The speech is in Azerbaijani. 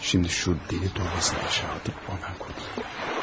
Şimdi şu deli torbasını aşağı atıp qurtulayım.